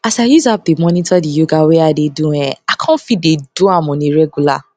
as i use app dey monitor di yoga wey i dey do um i com fit dey do am on a regular